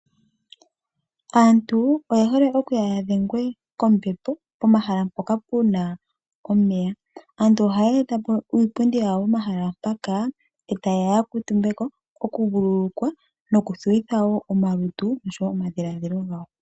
Aantu oye hala okuya yadhengwe kombepo pomahala mpoka puna omeya, aantu haye etapo iipundi yawo pomahala mpaka etayeya yakuutumbeko okuvululukwa noku thuwitha wo omalutu noshowo omadhilaadhilo gawo.